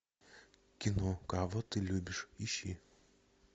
кино кого ты любишь ищи